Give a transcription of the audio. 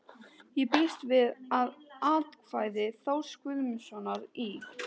Ég býst við að atkvæði Þórs Guðjónssonar í